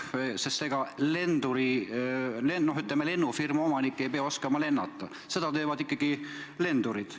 Ega lennufirma omanik ei pea oskama lennata, seda teevad ikkagi lendurid.